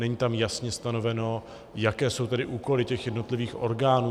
Není tam jasně stanoveno, jaké jsou tedy úkoly těch jednotlivých orgánů.